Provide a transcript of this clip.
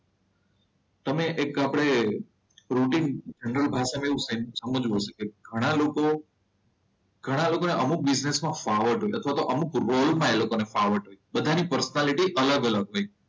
તમે એક આપણે રૂટીન ત્રણ ભાષામાં એવું સમજવું. ઘણા લોકો ઘણા લોકોને અમુક બિઝનેસ માં ફાવટ હોય અથવા તો ફાવટ હોય બધાની પર્સનાલિટી અલગ અલગ હોય.